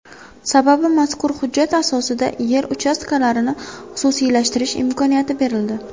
Sababi, mazkur hujjat asosida yer uchastkalarini xususiylashtirish imkoniyati berildi.